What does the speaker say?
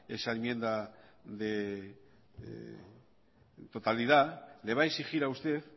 esa enmienda de totalidad le va a exigir a usted